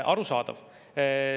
Arusaadav.